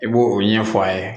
I b'o o ɲɛfɔ a ye